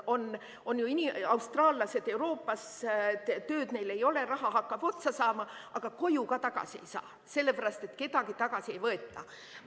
On austraallased Euroopas, tööd neil ei ole, raha hakkab otsa saama, aga koju ka tagasi ei saa, sellepärast et kedagi tagasi ei võeta.